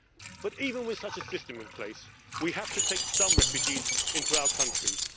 But even with such a system in place, we have to take some refugees into our countries.